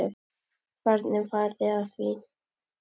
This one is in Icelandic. Hvernig farið þið að því?